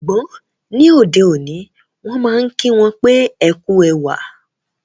Ṣùgbọ́n, ní ọdẹ̀ oní, wọn maa n kí wọn pe "Ẹ ku èwà"